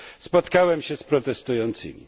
Spotkałem się z protestującymi.